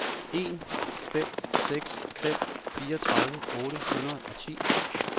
en fem seks fem fireogtredive otte hundrede og ti